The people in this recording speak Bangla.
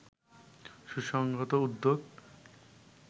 সুসংহত উদ্যোগ